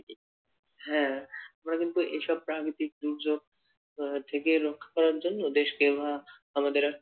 হ্যাঁ আমরা কিন্তু এইসব প্রাকৃতিক দুর্যোগ আহ থেকে রক্ষা করার জন্য দেশকে আমাদের,